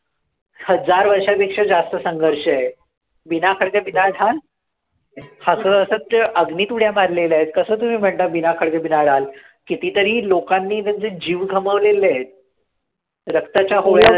हजार वर्षापेक्षा जास्त संघर्ष आहे, हसत हसत ते अग्नीत उड्या मारलेल्या आहेत कसं तुम्ही म्हणता किती तरी लोकांनी म्हणजे जीव गमावलेले आहे रक्ताच्या होळया